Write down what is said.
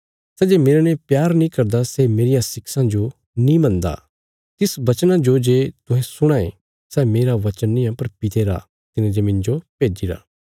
सै जे मेरने प्यार नीं करदा सै मेरिया शिक्षा जो नीं मनदा तिस बचना जो जे तुहें सुणा यें सै मेरा बचन निआं पर पिता रा तिने जे मिन्जो भेजीरा